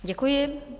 Děkuji.